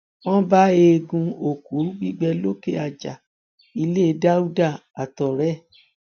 wọn bá eegun òkú gbígbẹ lókè àjà ilé dáúdà àtọrẹ ẹ